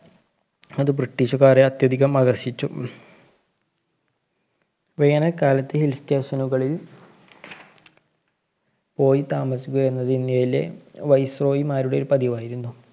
അത് ബ്രിട്ടീഷുകാരെ അത്യധികം ആകര്‍ഷിച്ചു. വേനല്‍ കാലത്ത് Hill station കളില്‍ പോയി താമസിക്കുക എന്നത് ഇന്ത്യയിലെ viceroy മാരുടെ ഒരു പതിവായിരുന്നു.